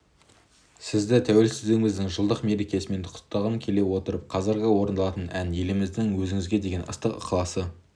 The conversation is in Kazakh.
сізді тәуелсіздігіміздің жылдық мерекесімен құттықтағым келіп отыр қазіргі орындалатын ән еліміздің өзіңізге деген ыстық ықыласы